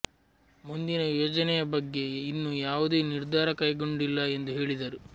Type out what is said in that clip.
ಮುಂದಿನ ಯೋಜನೆಯ ಬಗ್ಗೆ ಇನ್ನೂ ಯಾವುದೇ ನಿರ್ಧಾರ ಕೈಗೊಂಡಿಲ್ಲ ಎಂದು ಹೇಳಿದರು